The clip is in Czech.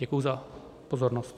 Děkuji za pozornost.